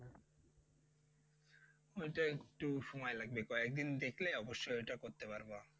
ওই টা একটু সময় লাগবে কয়েকদিন দেখলে অবশ্যই এটা করতে পারবা